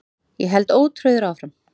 Ég held ótrauður áfram.